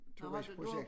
Tomandsprojekt